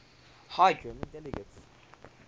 high german dialects